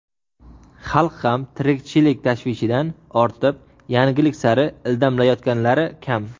Xalq ham tirikchilik tashvishidan ortib yangilik sari ildamlayotganlari kam.